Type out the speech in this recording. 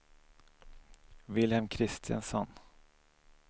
Vilhelm Christensson